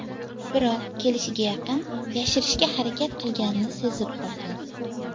Biroq kelishiga yaqin yashirishga harakat qilganini sezib qolgan.